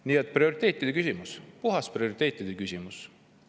Nii et see on prioriteetide küsimus, puhas prioriteetide küsimus.